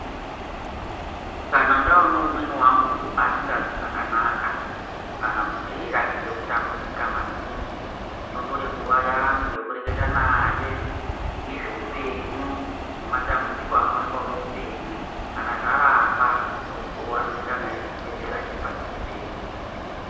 Kana ndaone umweni wangu asingazwi zvakanaka kana kuti eirakidze kutambudzika maningi ndinotore nguwa yangu yekureketa naye ngezveupenyu nematambudziko anooneka muupenyu kana zvaramba ndomutora ndoenda naye kuchibhedhlera chiri padhuze pedu.